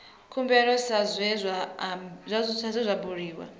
khumbelo sa zwe zwa bulwa